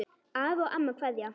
Afi og amma kveðja